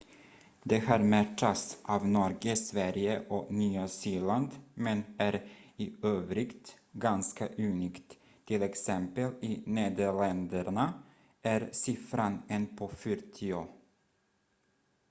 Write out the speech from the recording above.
det här matchas av norge sverige och nya zeeland men är i övrigt ganska unikt t.ex. i nederländerna är siffran en på fyrtio